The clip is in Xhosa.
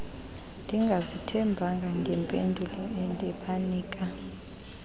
ndingazithembanga ngempendulo endibanika